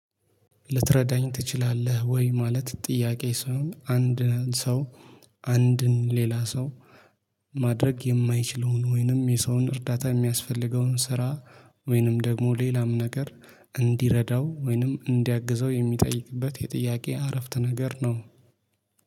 ልትረዳኝ ትችላለህ ወይ? ማለት ጥያቄ ሰው አንድ ሰው። አንድን ሌላ ሰው። ማድረግ የማይችለውን ወይንም የሰውን እርዳታ የሚያስፈልገውን ስራ። ወይንም ደግሞ ሌላም ነገር እንዲረዳው ወይንም እንዲያግዘው የሚጠይቅበት የጥያቄ አረፍት ነገር ነው